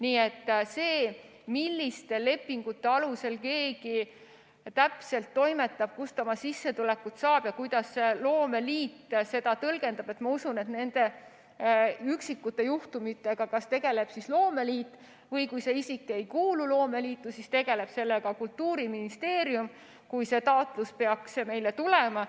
Nii et sellega, milliste lepingute alusel keegi täpselt toimetab, kust ta oma sissetuleku saab ja kuidas loomeliit seda tõlgendab, ma usun, nende üksikute juhtumitega tegeleb loomeliit või siis, kui see isik ei kuulu loomeliitu, tegeleb sellega Kultuuriministeerium, kui see taotlus peaks meile tulema.